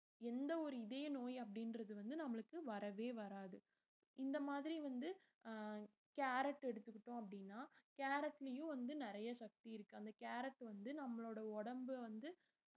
எந்த ஒரு இதய நோய் அப்படின்றது வந்து நம்மளுக்கு வரவே வராது இந்த மாதிரி வந்து ஆஹ் கேரட் எடுத்துக்கிட்டோம் அப்படின்னா கேரட்லயும் வந்து நிறைய சக்தி இருக்கு அந்த கேரட் வந்து நம்மளோட உடம்பு வந்து